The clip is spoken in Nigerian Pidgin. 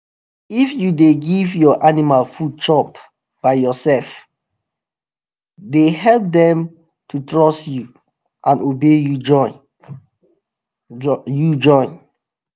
if you dey give your animal food chop by yourselfe dey help dem to trust you and obey you join. you join.